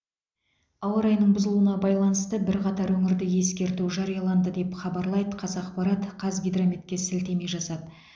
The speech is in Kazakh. ауа райының бұзылуына байланысты бірқатар өңірде ескерту жарияланды деп хабарлайды қазақпарат қазгидрометке сілтеме жасап